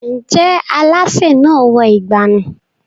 Ǹjẹ́ alásè náà wọ ìgbànú?